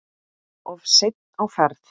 Of seinn á ferð?